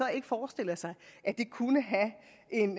ikke forestiller sig at det kunne have en